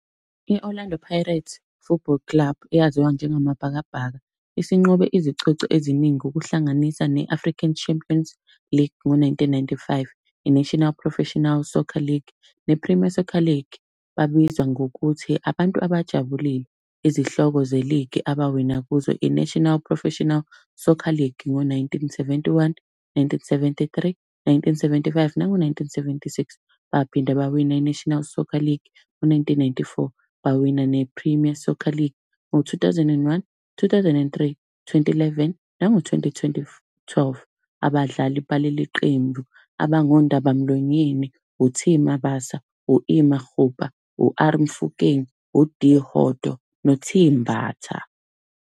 I-Orlando Pirates Football Club eyaziwa njengama Bhakabhaka, isinqobe izicoco eziningi ukuhlanganisa ne-African Champions League ngo-nineteen ninety-five. I-National Professional Soccer League ne-Premier Soccer League. Babizwa ngokuthi, abantu abajabulile. Izihloko ze-League abawina kuzo i-National Professional Soccer League, ngo-nineteen seventy-one, nineteen seventy-three, nineteen seventy-five, nango-nineteen seventy-six. Baphinde bawina i-National Soccer League ngo-nineteen ninety-four. Bawina ne-Premier Soccer League ngo-two thousand and one, two thousand and three, twenty, eleven nango twenty twenty twelve. Abadlali baleli qembu abangondabamlonyeni u-T Mabasa, u-E Magopa, u-R Mofokeng. u-D Hoto, no-T Mbatha.